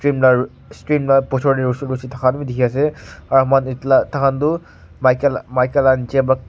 umlar shrimp la pochor te roshi roshi thaka toh dikhi ase aro moihan etu la takhan tu maika maika la niche p--